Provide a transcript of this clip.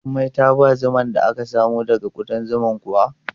Jummai ta ba zuman da aka samo daga kuɗan zuman kuwa?